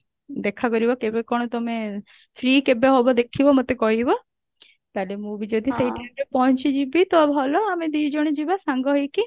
ଦେଖା କରିବ କେବେ କଣ ତମେ free କେବେ ହବ ଦେଖିବ ମୋତେ କହିବ ତାହାଲେ ମୁଁ ବି ଯଦି ସେଇ time ରେ ପହଞ୍ଚିଯିବି ତ ଭଲ ଆମେ ଦି ଜଣ ଯିବା ସାଙ୍ଗ ହେଇକି